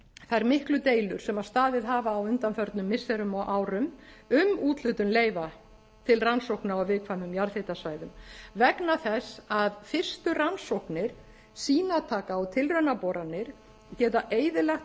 þær miklu deilur sem staðið hafa á undanförnum missirum og árum um úthlutun leyfa til rannsókna á viðkvæmum jarðhitasvæðum vegna þess að fyrstu rannsóknir sýnataka og tilraunaboranir geta eyðilagt